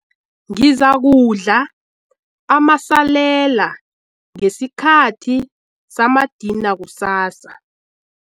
Ngizakudla amasalela ngesikhathi samadina kusasa.